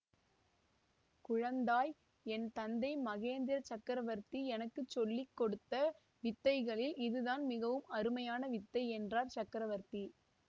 குழந்தாய் என் தந்தை மகேந்திர சக்கரவர்த்தி எனக்கு சொல்லி கொடுத்த வித்தைகளில் இதுதான் மிகவும் அருமையான வித்தை என்றார் சக்கரவர்த்தி